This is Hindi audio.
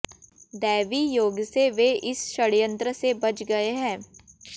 दैवी योगसे वे इस षडयंत्रसे बच गए हैं